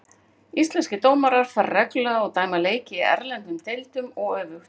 Íslenskir dómarar fara reglulega og dæma leiki í erlendum deildum og öfugt.